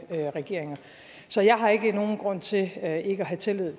regeringer så jeg har ikke nogen grund til ikke at have tillid